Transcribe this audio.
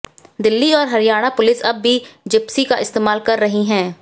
दिल्ली और हरियाणा पुलिस अब भी जिप्सी का इस्तेमाल कर रही है